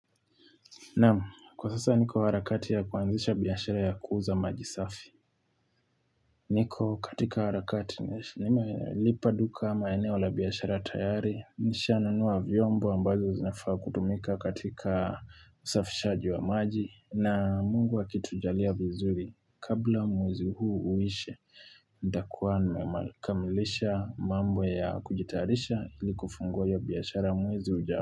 Nam, kwa sasa niko harakati ya kuanzisha biyashara ya kuuza majisafi. Niko, katika harakati, nime lipaduka ama eneo la biyashara tayari, nishananua vyombo ambazo zinafaa kutumika katika usafishaji wa maji, na mungu akitu jalia vizuri, kabla muwezi huu uishe, ndakuanme kamilisha mambo ya kujitarisha ili kufunguwa ya biyashara muwezi ujaamu.